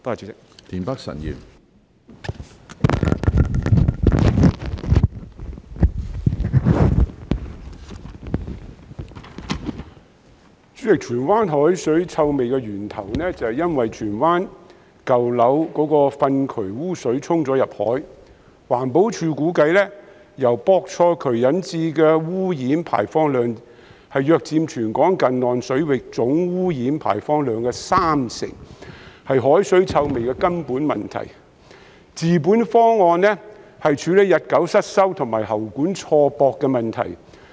主席，荃灣海水臭味的源頭是因為荃灣舊樓的糞渠污水流入大海，環境保護署估計由錯駁渠管引致的污染排放量約佔全港近岸水域總污染排放量的三成，是海水臭味的根本問題，治本方案是處理日久失修和喉管錯駁的問題。